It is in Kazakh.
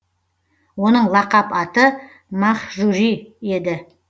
оның лақап аты мәһжури еді